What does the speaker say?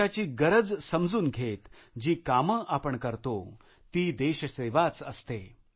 देशाची गरज समजून घेत जी कामे आपण करतो ती देशसेवाच असते